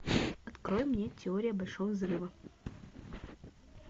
открой мне теория большого взрыва